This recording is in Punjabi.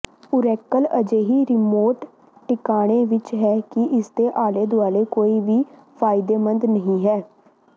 ਓਰੇਕਲ ਅਜਿਹੀ ਰਿਮੋਟ ਟਿਕਾਣੇ ਵਿੱਚ ਹੈ ਕਿ ਇਸਦੇ ਆਲੇ ਦੁਆਲੇ ਕੋਈ ਵੀ ਫਾਇਦੇਮੰਦ ਨਹੀਂ ਹੈ